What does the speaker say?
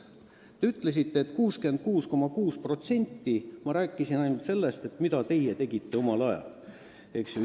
Te väitsite, et 66,6% ulatuses ma rääkisin sellest, mida teie tegite omal ajal.